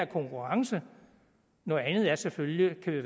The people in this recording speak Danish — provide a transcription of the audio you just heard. konkurrencen noget andet er selvfølgelig